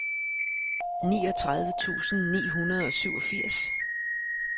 niogtredive tusind ni hundrede og syvogfirs